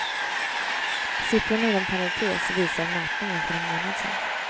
Siffrorna inom parentes visar mätningen för en månad sen.